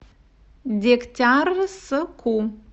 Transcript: дегтярску